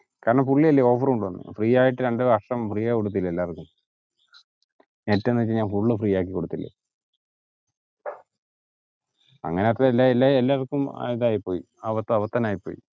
കാരണം പുള്ളി ഇല്ലേ offer കൊണ്ടുവന്നത് free ആയിറ്റ്‌ രണ്ട് വർഷം free ആയി കൊടുത്തില്ലേ എല്ലാര്ക്കും net ന്ന് വെച് കയിഞ്ഞാൽ full ഉം free യാക്കി കൊടുത്തില്ലേ